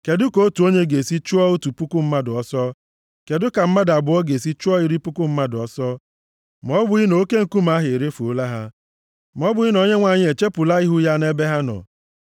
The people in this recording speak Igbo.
Kedụ ka otu onye ga-esi chụọ otu puku mmadụ ọsọ, kedụ ka mmadụ abụọ ga-esi chụọ iri puku mmadụ ọsọ, ma ọ bụghị na Oke Nkume ha erefuola ha, ma ọ bụghị na Onyenwe anyị echepụla ihu ya nʼebe ha nọ?